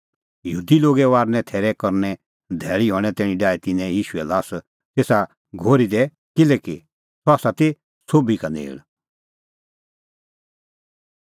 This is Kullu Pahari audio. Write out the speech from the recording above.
यहूदी लोगे फसहे थैरे तैरीए धैल़ी हणें तैणीं डाही तिन्नैं ईशूए ल्हास तेसा घोरी दी किल्हैकि सह ती सोभी का नेल़